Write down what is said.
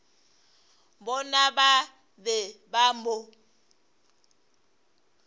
bona ba be ba mo